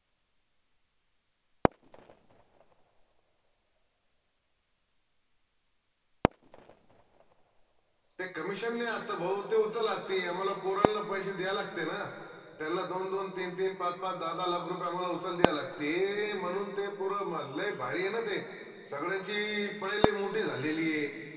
ते commission नाई असत भाऊ ते उचल असती आम्हाला पोरांला पैशे द्या लागते ना त्यांला दोन दोन, तीन तीन, पाच पाच, दाहा दाहा lakh रुपये आम्हाला उचल द्या लागते म्हनून ते पोर लय भारी ए ना ते सगड्यांची मोटी झालेलीय